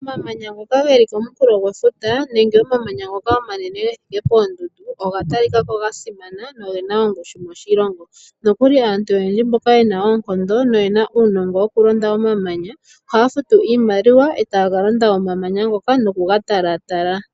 Omamanya ngoka geli komunkulo gwefuta, nenge omamanya ngoka omanene gethike poondundu, oga talikako ga simana, noge na ongushu moshilongo. Nokuli aantu oyendji mboka yena oonkondo noyena uunongo wokulonda omamanya, ohaya futu iimaliwa, etaya ka londa omamanya ngoka nokuga tala tala.